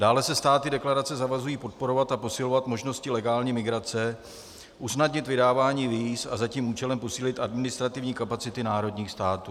Dále se státy deklarace zavazují podporovat a posilovat možnosti legální migrace, usnadnit vydávání víz a za tím účelem posílit administrativní kapacity národních států.